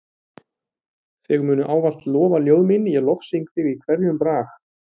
Þig munu ávallt lofa ljóð mín ég lofsyng þig í hverjum brag.